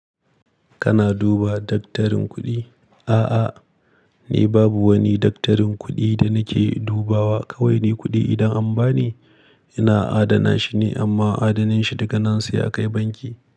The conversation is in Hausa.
Kana duba daktarin kuɗi? A'a, ni babu wani daktarin kuɗi da nake dubawa. Kawai ni kuɗi idan an ba ni, ina adana shi ne amma adaninshi daga nan sai a kai banki.